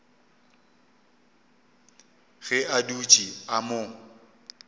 ge a dutše a mo